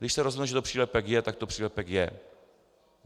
Když se rozhodne, že to přílepek je, tak to přílepek je.